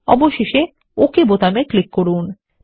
অবশেষে ওক বোতামে ক্লিক করুন